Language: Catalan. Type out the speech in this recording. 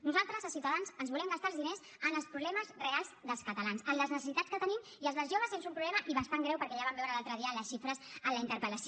nosaltres a ciutadans ens volem gastar els diners en els problemes reals dels catalans en les necessitats que tenim i el dels joves és un problema i bastant greu perquè ja vam veure l’altre dia les xifres en la interpel·lació